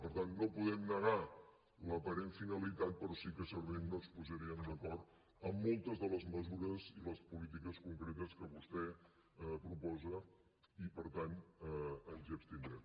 per tant no podem negar l’aparent finalitat però sí que segurament no ens posaríem d’acord en moltes de les mesures i les polítiques concretes que vostè proposa i per tant ens hi abstindrem